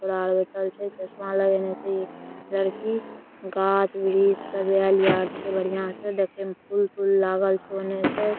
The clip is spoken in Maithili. बैठल छै चस्मा लगेने छई लड़की गाछ-वृक्ष सजायल यार छे बढ़िया स देखे में फूल-तुल लागल छे।